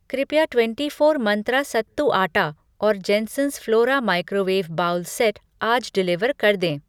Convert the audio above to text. कृपया twenty four Mantra सत्तू आटा और Jensons Flora microwave bowl set आज डिलीवर कर दें।